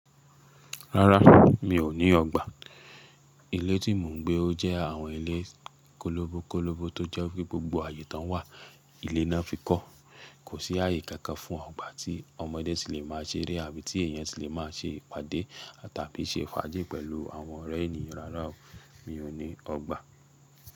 Rárá, mi ò ní ọgbà. Ilé tí mò ń gbé ó jẹ́ àwọn ilé kólóbo kólóbo tó jẹ́ pé gbogbo ààyè tán wà, ilé náà fi kọ́. Kò sí ààyè kankan fún ọgbà tí ọmọdé ti lè má a ṣeré àbí ti èèyàn ti lè má a ṣe ìpàdé tàbí ṣe ìfàáji pẹ̀lú àwọn ọ̀rẹ́ ènìyàn rárá, mi ò ní ọgbà.